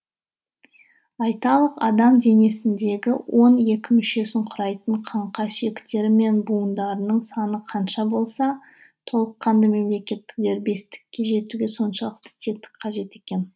айталық адам денесіндегі он екі мүшесін құрайтын қаңқа сүйектері мен буындарының саны қанша болса толыққанды мемлекеттік дербестікке жетуге соншалықты тетік қажет екен